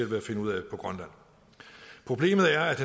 ved at finde ud af på grønland problemet er at